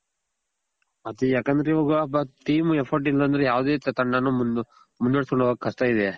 ಆದ್ರೆ ಇವಾಗ team effort ಇಲ್ಲ ಅಂದ್ರೆ ಯಾವದೇ ತಂಡಾನು ಮುಂದ್ವರ್ಸ್ ಕೊಂಡ್ ಹೋಗೋಕ್ ಕಷ್ಟ ಇದೆ.